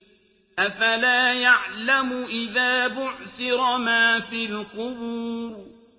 ۞ أَفَلَا يَعْلَمُ إِذَا بُعْثِرَ مَا فِي الْقُبُورِ